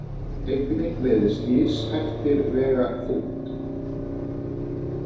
Einnig virðast lífshættir vega þungt.